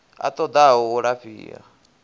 a ṱo ḓaho u lafhiwa